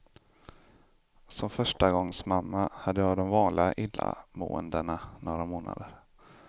Som förstagångsmamma hade jag de vanliga illamåendena några månader.